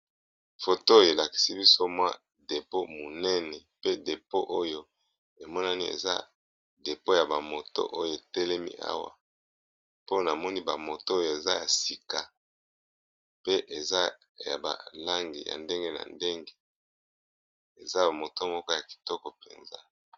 Foto oyo elakisi biso mwa depo ya monene. Pe depo oyo emonani eza depo ya bamoto oyo etelemi, awa mpona moni bamoto oyo eza ya sika pe eza ya ba langi ya ndenge na ndenge eza bamoto moko ya kitoko mpenza.